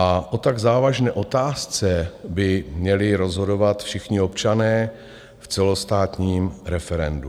A o tak závažné otázce by měli rozhodovat všichni občané v celostátním referendu.